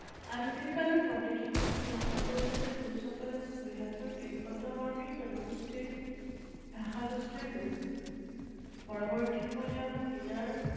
আধুনিক কালৰ পণ্ডিতসকলে সিদ্ধান্ত কৰিছে কোচসকল বৃহত্তৰ তিব্বতবৰ্মী জনগোষ্ঠীৰ ভাষাগোষ্ঠীৰ লোক। পৰৱৰ্তী সময়ত তেওঁলোক নিজৰ